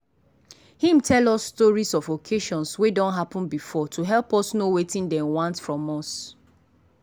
him tell us stories of occasions wey done happen before to help us know wetin dem want from us.